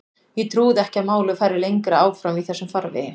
Ég trúði ekki að málið færi lengra áfram í þessum farvegi.